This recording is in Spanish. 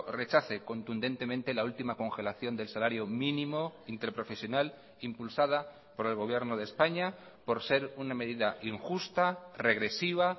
rechace contundentemente la última congelación del salario mínimo interprofesional impulsada por el gobierno de españa por ser una medida injusta regresiva